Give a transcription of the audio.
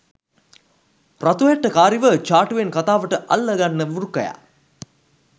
රතු හැට්ටකාරිව චාටුවෙන් කතාවට අල්ල ගන්න වෘකයා